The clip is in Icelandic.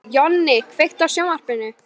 Jonni, kveiktu á sjónvarpinu.